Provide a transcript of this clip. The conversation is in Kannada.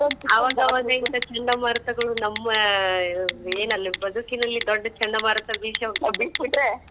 ಅವಾಗ್ ಅವಾಗ್ ಇಂತ ಚಂಡಮಾರುತಗಳು ನಮ್ಮ್ ಆ ಏನಲ್ಲಿ ಬದುಕಿನಲ್ಲಿ ದೊಡ್ಡ್ ಚಂಡಮಾರುತ ಬಿಸ್ಯಾವ ಅಂತ್ ಬಿಟ್ಟ ಬಿಟ್ರ್?